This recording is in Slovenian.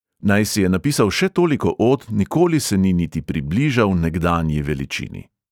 Naj si je napisal še toliko od, nikoli se ni niti približal nekdanji veličini.